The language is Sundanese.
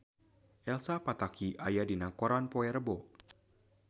Elsa Pataky aya dina koran poe Rebo